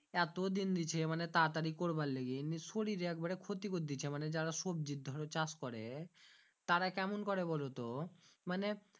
এতো দিন দিছে মানে তাড়াতাড়ি করবার লেগি নিয়ে শরীরে একবারে ক্ষতি করেদিছে মানে যারা সবজির ধরো চাষ করে তারা কেমুন করে বুলোতো মানে